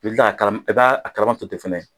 I bɛ kila ka kala i b'a kalama to tɛ fɛnɛ.